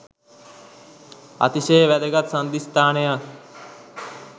අතිශය වැදගත් සංධිස්ථානයක්